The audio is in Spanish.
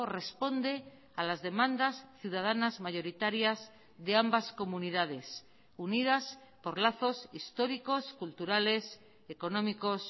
responde a las demandas ciudadanas mayoritarias de ambas comunidades unidas por lazos históricos culturales económicos